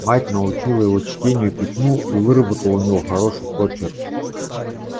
мать научила его чтению и письму и выработала у него хороший почерк